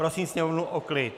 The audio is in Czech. Prosím sněmovnu o klid!